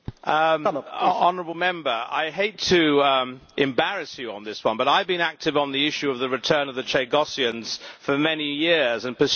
I hate to embarrass you on this one, but I have been active on the issue of the return of the Chagossians for many years and pursued it in the previous Parliament.